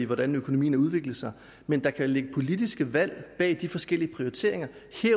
hvordan økonomien har udviklet sig men der kan jo ligge politiske valg bag de forskellige prioriteringer